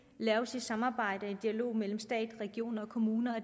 laves i samarbejde og dialog mellem stat regioner og kommuner